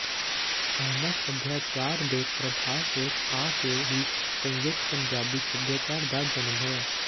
ਇਹਨਾਂ ਸਭਿਆਚਾਰ ਦੇ ਪ੍ਰਭਾਵ ਹੇਠ ਆ ਕਿ ਹੀ ਸੰਯੁਕਤ ਪੰਜਾਬੀ ਸਭਿਆਚਾਰ ਦਾ ਜਨਮ ਹੋਇਆ